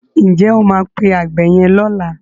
Ǹ jẹ́ o máa pe àgbẹ̀ yẹn lọ́la?